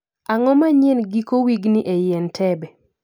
Ang'o manyien giko wigni eiy entebe?